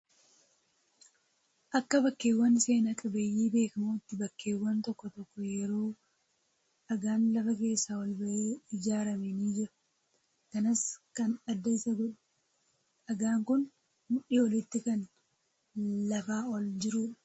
Akka bakkeewwan seenaa qabeeyyii beekamootti bakkeewwan tokko tokko yeroo dhagaan lafa keessaa ol bahee ijaarame ni Jira. Kanas kan adda Isa godhu dhagaan Kun mudhii olitti kan lafaa ol jirudha.